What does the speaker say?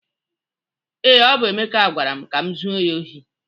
Ee, ọ bụ Emeka gwara m ka m zuo ya ohi